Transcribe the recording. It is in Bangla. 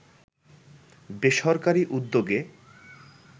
বেসরকারি উদ্যোগে